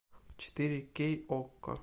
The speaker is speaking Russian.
четыре кей окко